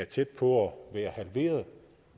tæt på at være halveret